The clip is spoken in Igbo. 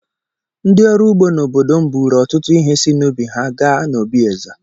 Ndị ọrụ ugbo n'obodo m buuru ọtụtụ ihe si n'ubi ha gaa n'obi eze.